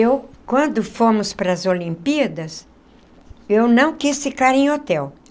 Eu, quando fomos para as Olimpíadas, eu não quis ficar em hotel.